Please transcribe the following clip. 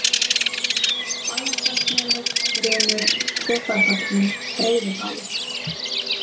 Bæjardalsmelur, Runur, Tvöfaldatún, Breiðibali